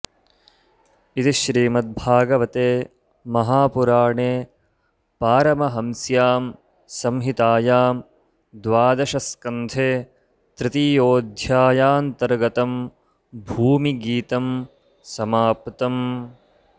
इति श्रीमद्भागवते महापुराणे पारमहंस्यां संहितायां द्वादशस्कन्धे तृतीयोऽध्यायान्तर्गतं भूमिगीतं समाप्तम्